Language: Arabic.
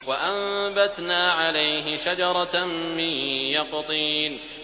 وَأَنبَتْنَا عَلَيْهِ شَجَرَةً مِّن يَقْطِينٍ